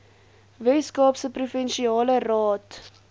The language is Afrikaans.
weskaapse provinsiale raad